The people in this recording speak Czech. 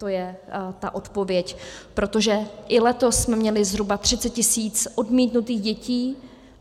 To je ta odpověď, protože i letos jsme měli zhruba 30 tisíc odmítnutých dětí.